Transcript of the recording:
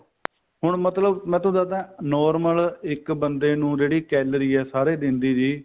ਹੁਣ ਮਤਲਬ ਮੈਂ ਤੁਹਾਨੂੰ ਦਸਦਾ normal ਇੱਕ ਬੰਦੇ ਨੂੰ ਜਿਹੜੀ calorie ਏ ਸਾਰੇ ਦਿਨ ਦੀ ਜੀ